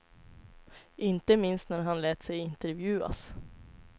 Inte minst när han lät sig intervjuas.